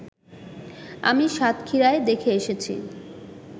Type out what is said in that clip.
আমি সাতক্ষীরায় দেখে এসেছি